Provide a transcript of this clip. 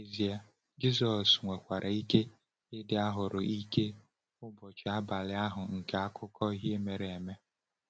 N’ezie, Jisọs nwekwara ike ịdị ahụ́rụ ike n’ụbọchị abalị ahụ nke akụkọ ihe mere eme.